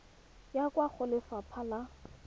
ya kwa go lefapha la